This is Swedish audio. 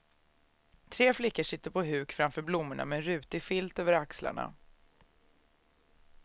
Tre flickor sitter på huk framför blommorna med en rutig filt över axlarna.